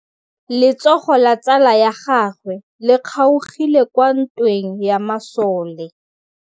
Letsôgô la tsala ya gagwe le kgaogile kwa ntweng ya masole.